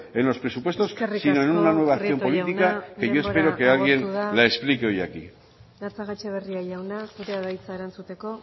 en los presupuestos sino en una nueva acción política que yo espero que alguien la explique hoy aquí eskerrik asko prieto jauna denbora agortu da gatxabaetxebarria jauna zurea da hitza erantzuteko